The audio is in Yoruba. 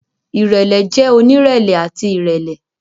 Irẹlẹ jẹ onirẹlẹ ati irẹlẹ.